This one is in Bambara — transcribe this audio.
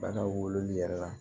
Bagan wololi yɛrɛ la